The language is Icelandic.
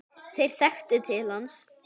Þeir þekktu til hans.